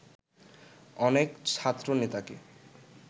অনেক ছাত্রনেতাকে